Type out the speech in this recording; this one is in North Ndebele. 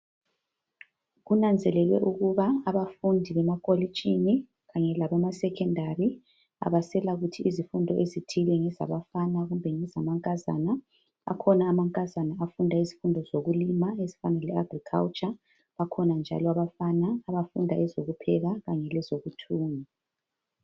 Kunanzelelwe ukuba abafundi bemakolitshini kanye labemasecondary abaselakuthi izifundo ezithile ngezabafana kumbe ngezamankazana. Akhona amankazana afunda izifundo zokulima ezifana leAgriculture, bakhona njalo abafana abafunda ezokupheka kanye lezokuthunga.